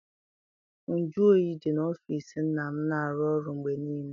Nju oyi dị n'ọfịịsi nna m na arụ ọrụ mgbe niile.